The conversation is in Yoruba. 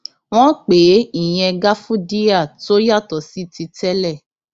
wọn pè é ìyẹn gáfúdíà tó yàtọ sí ti tẹlẹ